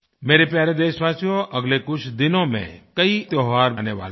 मेरे प्यारे देशवासियो अगले कुछ दिनों में कई त्योहार आने वाले हैं